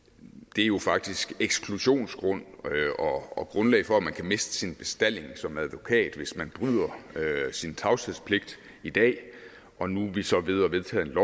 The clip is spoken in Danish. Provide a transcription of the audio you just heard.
det er jo faktisk eksklusionsgrund og grundlag for at man kan miste sin bestalling som advokat hvis man bryder sin tavshedspligt i dag og nu er vi så ved at vedtage et